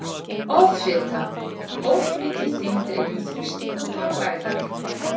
Offita- Of mikil þyngd eykur þrýsting á bláæðarnar.